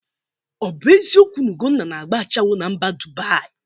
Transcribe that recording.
Ọ bụ eziokwu na Egonna na-agba ashawo na mba Dubaị?